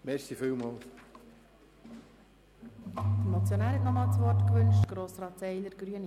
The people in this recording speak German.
Der Motionär wünscht noch einmal das Wort.